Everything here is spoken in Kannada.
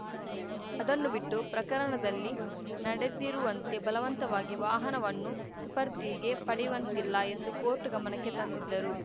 ಅದನ್ನು ಬಿಟ್ಟು ಪ್ರಕರಣದಲ್ಲಿ ನಡೆದಿರುವಂತೆ ಬಲವಂತವಾಗಿ ವಾಹನವನ್ನು ಸುಪರ್ದಿಗೆ ಪಡೆಯುವಂತಿಲ್ಲ ಎಂದು ಕೋರ್ಟ್‌ ಗಮನಕ್ಕೆ ತಂದಿದ್ದರು